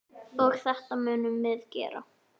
Og þetta munum við gera.